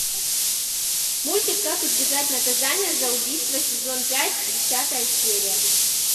мультик как избежать наказания за убийство сезон пять десятая серия